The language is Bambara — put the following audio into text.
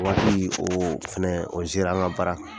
O waati o fɛnɛ o an ka baara kan.